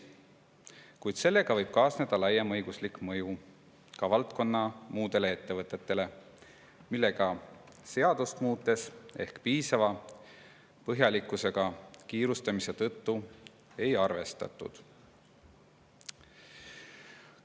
Kuid selle normiga võib kaasneda laiem õiguslik mõju ka valdkonna muudele ettevõtetele, millega seadust muutes kiirustamise tõttu ehk piisava põhjalikkusega ei arvestatud.